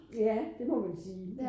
Ja det må man sige